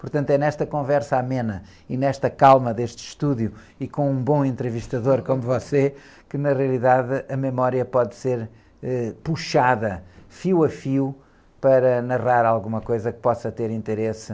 Portanto é nesta conversa amena e nesta calma deste estúdio e com um bom entrevistador como você que na realidade a memória pode ser, eh, puxada fio a fio para narrar alguma coisa que possa ter interesse.